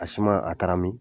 A suma a taara min ?